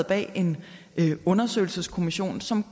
bag en undersøgelseskommission som